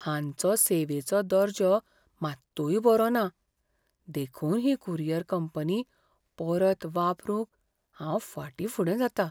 हांचो सेवेचो दर्जो मात्तूय बरो ना, देखून ही कुरियर कंपनी परत वापरूंक हांव फाटींफुडें जातां .